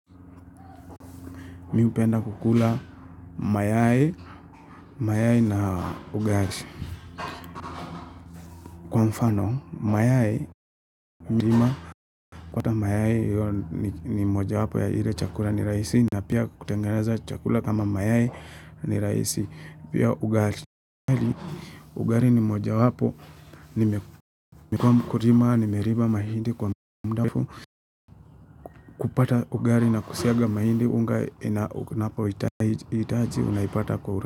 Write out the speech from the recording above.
Mi hupenda kukula mayai, mayai na ugali. Kwa mfano, mayai, kupata mayai ni moja wapo ya ile chakula ni rahisi. Na pia kutengeneza chakura kama mayai ni rahisi. Pia ugali. Ugali ni moja wapo. Mekuwa mkulima, nimeriba mahindi kwa mudafu. Kupata ugali na kusiaga mahindi unga inaipata kwa uraisi.